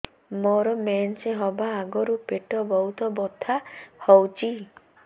ମୋର ମେନ୍ସେସ ହବା ଆଗରୁ ପେଟ ବହୁତ ବଥା ହଉଚି